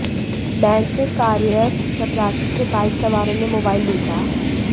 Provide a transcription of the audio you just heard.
bank में कार्यरत चपरासी से बाइक सवारों ने मोबाइल लूटा